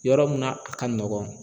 Yɔrɔ mun na a ka nɔgɔn.